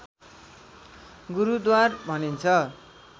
गुरूद्वार भनिन्छ